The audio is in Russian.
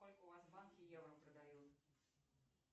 сколько у вас в банке евро продают